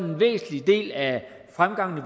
den væsentlige del af fremgangen